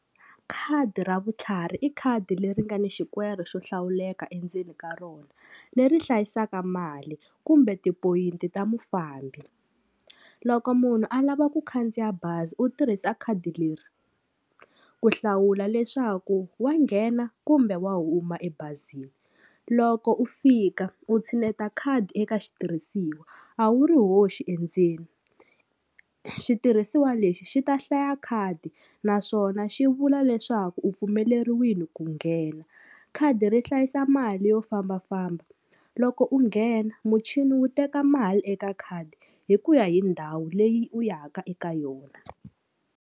Khadi ra vutlhari i khadi leri nga ni xikwere xo hlawuleka endzeni ka rona leri hlayisaka mali kumbe ti-point ta mufambi loko munhu a lava ku khandziya bazi u tirhisa khadi leri ku hlawula leswaku wa nghena kumbe wa huma ebazini loko u fika u tshineta khadi eka xitirhisiwa a wu ri hoxi endzeni xitirhisiwa lexi xi ta hlaya khadi naswona xi vula leswaku u pfumeleriwile ku nghena khadi ri hlayisa mali yo fambafamba. Loko u nghena muchini wu teka mali eka khadi hi ku ya hi ndhawu leyi u ya ka eka yona.